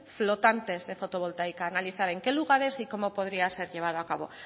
flotantes de fotovoltaica analizar en qué lugares y cómo podría ser llevado a cabo